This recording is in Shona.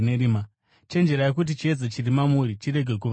Chenjererai kuti chiedza chiri mamuri chirege kuva rima.